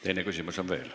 Teine küsimus on veel.